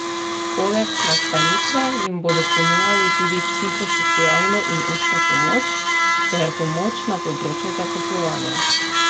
Poleg nastanitve jim bodo ponujali tudi psihosocialno in učno pomoč ter pomoč na področju zaposlovanja.